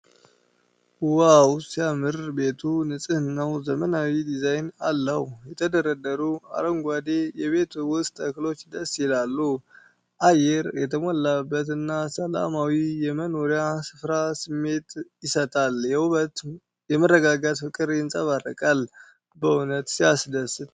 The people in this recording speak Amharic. ዋው ሲያምር! ቤቱ ንጹህና ዘመናዊ ዲዛይን አለው። የተደረደሩት አረንጓዴ የቤት ውስጥ ተክሎች ደስ ይላሉ። አየር የተሞላበትና ሰላማዊ የመኖሪያ ስፍራ ስሜት ይሰጣል። የውበትና የመረጋጋት ፍቅር ይንጸባረቃል። በእውነት ሲያስደስት!